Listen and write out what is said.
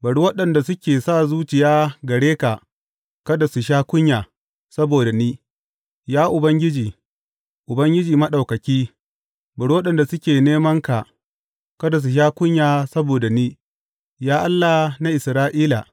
Bari waɗanda suke sa zuciya gare ka kada su sha kunya saboda ni, Ya Ubangiji, Ubangiji Maɗaukaki; bari waɗanda suke neman ka kada su sha kunya saboda ni, Ya Allah na Isra’ila.